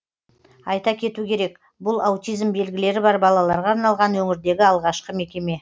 айта кету керек бұл аутизм белгілері бар балаларға арналған өңірдегі алғашқы мекеме